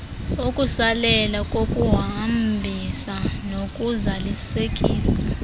ukusalela kokuhambisa nokuzalisekisa